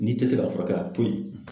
N'i tɛ se ka furakɛ k'a to yen.